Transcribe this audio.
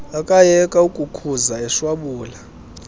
akayeka ukukhuza eshwabula